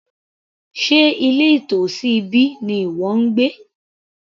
Sé ilé nítòsí ibí ni ìwọ ń gbé